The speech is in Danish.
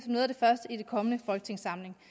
noget af det første i den kommende folketingssamling